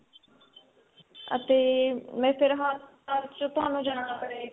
ਅਤੇ ਮੈ ਫ਼ਿਰ ਹਸਪਤਾਲ ਵਿੱਚ ਤੁਹਾਨੁੰ ਜਾਣਾ ਪਏਗਾ